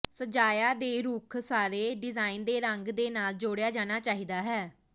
ਸਜਾਇਆ ਦੇ ਰੁੱਖ ਸਾਰੇ ਡਿਜ਼ਾਇਨ ਦੇ ਰੰਗ ਦੇ ਨਾਲ ਜੋੜਿਆ ਜਾਣਾ ਚਾਹੀਦਾ ਹੈ